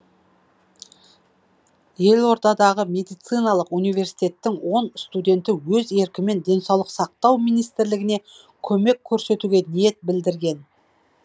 елордадағы медициналық универститеттің он студенті өз еркімен денсаулық сақтау министрлігіне көмек көрсетуге ниет білдірген